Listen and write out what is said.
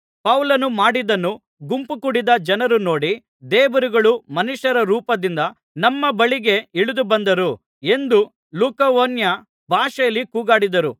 ಪೌಲನು ಮಾಡಿದ್ದನ್ನು ಗುಂಪು ಕೂಡಿದ್ದ ಜನರು ನೋಡಿ ದೇವರುಗಳು ಮನುಷ್ಯರ ರೂಪದಿಂದ ನಮ್ಮ ಬಳಿಗೆ ಇಳಿದುಬಂದರು ಎಂದು ಲುಕವೋನ್ಯ ಭಾಷೆಯಲ್ಲಿ ಕೂಗಾಡಿದರು